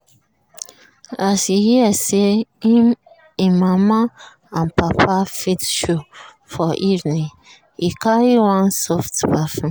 as e hear say him mama and papa fit show for evening e carry one soft perfume.